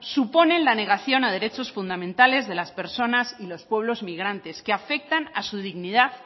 supone la negación a derechos fundamentales de las personas y los pueblos migrantes que afectan a su dignidad